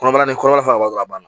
Kɔnɔbara ni kɔnɔbara dɔrɔn a ban na